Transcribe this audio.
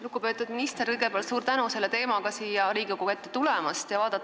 Lugupeetud minister, kõigepealt suur tänu selle teemaga siia Riigikogu ette tulemast!